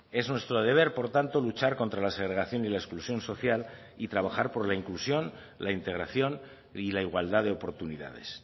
es nuestro deber por tanto luchar contra la segregación y la exclusión social y trabajar por la inclusión la integración y la igualdad de oportunidades